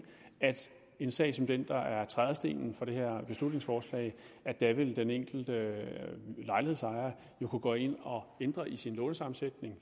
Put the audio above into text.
en sag som den der er trædestenen for det her beslutningsforslag vil den enkelte lejlighedsejer jo kunne gå ind og ændre i sin lånesammensætning